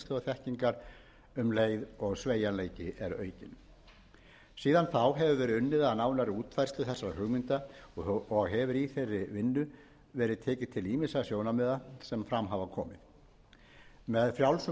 þekkingar um leið og sveigjanleiki er aukinn síðan þá hefur verið unnið að nánari útfærslu þessara hugmynda og hefur í þeirri vinnu verið tekið til til ýmissa sjónarmiða sem fram hafa komið með frjálsum